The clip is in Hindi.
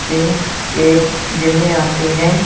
जिम के जिम में आते है।